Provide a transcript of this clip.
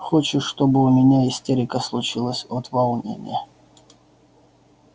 хочешь чтобы у меня истерика случилась от волнения